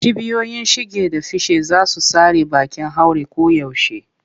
Cibiyoyin shige da fice za su tsare bakin haure koyaushe.